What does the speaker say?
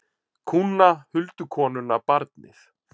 Kúna, huldukonuna, barnið.